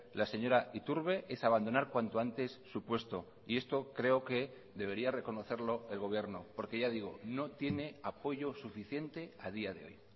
la señora iturbe es abandonar cuanto antes su puesto y esto creo que debería reconocerlo el gobierno porque ya digo no tiene apoyo suficiente a día de hoy